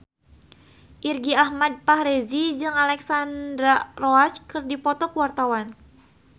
Irgi Ahmad Fahrezi jeung Alexandra Roach keur dipoto ku wartawan